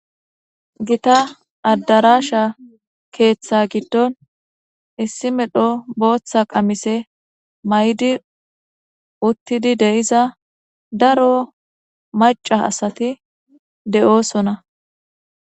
Gita adarasha gidon issi medho bota qamise mayidi uttidi diza daro maca asati deo'sona